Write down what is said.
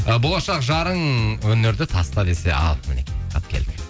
ы болашақ жарың өнерді таста десе ал мінекей тап келді